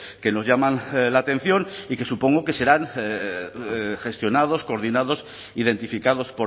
que nos llaman la atención y que supongo que serán gestionados coordinados identificados